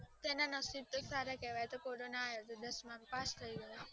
તેના નસીબ સારા કહેવા તો કોરોના આવ્યો હતા તો દસમા માં પાસ થયો